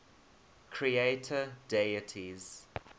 creator deities